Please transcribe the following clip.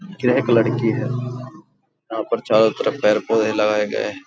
यह एक लड़की है। यहाँ पर चारों तरफ़ पेड़-पौधे लगाए गए हैं।